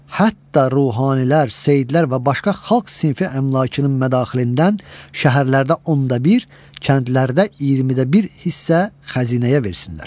Hətta ruhaniylər, seyyidlər və başqa xalq sinfi əmlakının mədaxilindən şəhərlərdə onda bir, kəndlərdə 20-də bir hissə xəzinəyə versinlər.